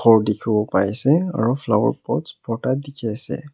gour dekhi bo paise aru flower pot opor te dekhi ase.